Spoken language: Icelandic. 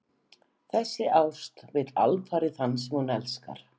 Þessi ást vill alfarið þann sem hún elskar.